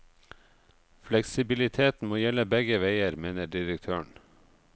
Fleksibiliteten må gjelde begge veier, mener direktøren.